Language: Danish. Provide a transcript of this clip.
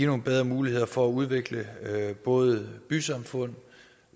nogle bedre muligheder for at udvikle både bysamfund